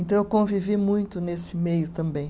Então eu convivi muito nesse meio também.